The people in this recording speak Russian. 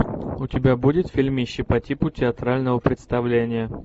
у тебя будет фильмище по типу театрального представления